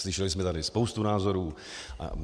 Slyšeli jsme tady spoustu názorů.